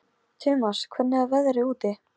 Söfnuð af Magnúsi Grímssyni og Jóni Árnasyni.